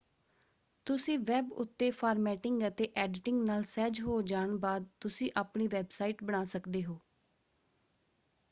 ਤੁਸੀਂ ਵੈਬ ਉੱਤੇ ਫਾਰਮੈਟਿੰਗ ਅਤੇ ਐਡੀਟਿੰਗ ਨਾਲ ਸਹਿਜ ਹੋ ਜਾਣ ਬਾਅਦ ਤੁਸੀਂ ਆਪਣੀ ਵੈਬਸਾਈਟ ਬਣਾ ਸਕਦੇ ਹੋ।